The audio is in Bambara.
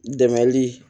Dɛmɛli